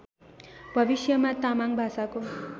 भविष्यमा तामाङ भाषाको